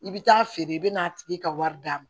I bɛ taa feere i bɛ n'a tigi ka wari d'a ma